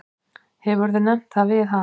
Hefurðu nefnt það við hana?